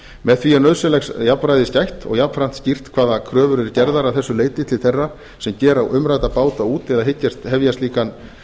með því er nauðsynlegs jafnræðis gætt og jafnframt skýrt hvaða kröfur eru gerðar að þessu leyti til þeirra sem gera umrædda báta út eða hyggjast hefja slíkan